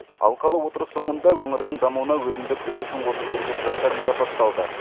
алқалы отырыс соңында өңірдің дамуына өзіндік үлесін қосып жүрген жандар марапатталды